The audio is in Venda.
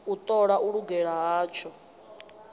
u ṱola u lugela hatsho